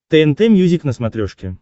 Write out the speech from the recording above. тнт мьюзик на смотрешке